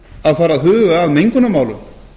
að huga að mengunarmálum